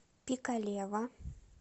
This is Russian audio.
пикалево